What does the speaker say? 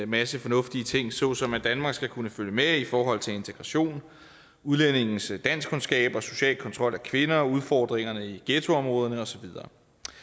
masse fornuftige ting såsom at danmark skal kunne følge med i forhold til integration udlændinges danskkundskaber social kontrol af kvinder og udfordringerne i ghettoområderne og så videre